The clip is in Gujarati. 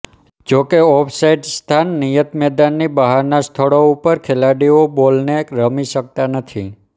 જોકે ઓફ સાઇડ સ્થાન નિયત મેદાનની બહારના સ્થળો ઉપર ખેલાડીઓ બોલને રમી શકતા નથી